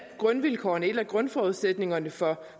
grundvilkårene en af grundforudsætningerne for